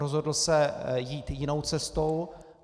Rozhodl se jít jinou cestou.